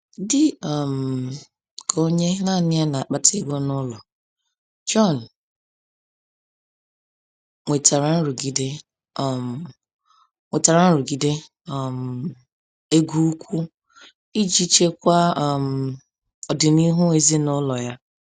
Dị um ka onye naanị ya na-akpata ego n’ụlọ, John nwetara nrụgide um nwetara nrụgide um ego ukwu iji chekwaa um ọdịnihu ezinụlọ ya.